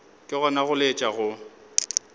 ke gona go laetša go